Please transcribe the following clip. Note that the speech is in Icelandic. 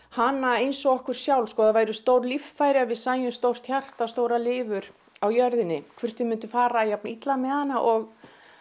hana eins og okkur sjálf ef það væru stór líffæri við sæjum stórt hjarta stóra lifur á jörðinni hvort við myndum fara jafn illa með hana og